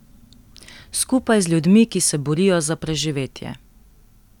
Skupaj z ljudmi, ki se borijo za preživetje.